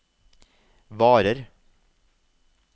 varer